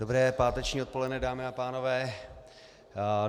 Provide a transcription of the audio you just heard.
Dobré páteční odpoledne, dámy a pánové.